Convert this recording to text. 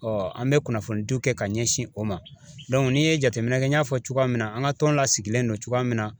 an bɛ kunnafoni diw kɛ ka ɲɛsin o ma. n'i ye jateminɛ kɛ n y'a fɔ cogoya min na an ŋa tɔn lasigilen don cogoya min na